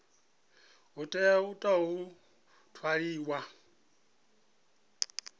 hu tea u tou ṅwaliwa